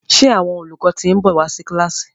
ṣe Àwọn olùkọ tin nbọ wá sí kilasi?